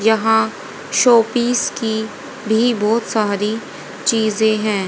यहां शोपीस की भी बहुत सारी चीजे हैं।